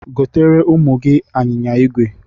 Goteere ụmụ gị anyịnya igwe!